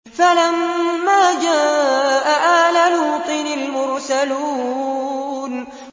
فَلَمَّا جَاءَ آلَ لُوطٍ الْمُرْسَلُونَ